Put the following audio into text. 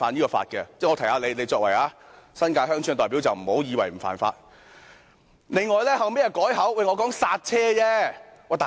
我提醒他，他作為新界鄉村的代表，不要以為這是不犯法的。